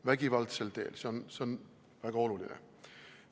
Vägivaldsel teel – see on väga oluline!